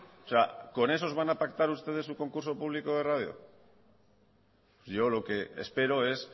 o sea con esos van a pactar ustedes su concurso público de radio yo lo que espero es